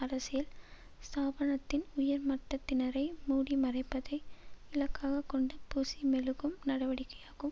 அரசியல் ஸ்தாபனத்தின் உயர் மட்டத்தினரை மூடி மறைப்பதை இலக்காக கொண்ட பூசி மெழுகும் நடவடிக்கையாகும்